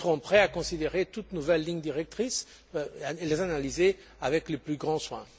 Mais nous serons prêts à considérer toute nouvelle ligne directrice et à l'analyser avec le plus grand soin.